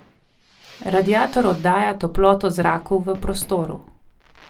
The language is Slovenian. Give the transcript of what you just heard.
Radiator oddaja toploto zraku v prostoru.